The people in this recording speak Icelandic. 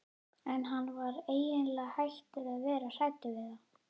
En hann var eiginlega hættur að vera hræddur við þá.